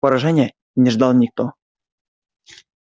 поражения не ждал никто